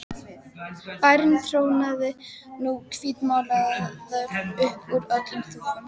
Bærinn trónaði nú hvítmálaður upp úr öllum þúfum.